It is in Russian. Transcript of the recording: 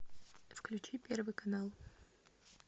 включи первый канал